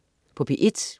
P1: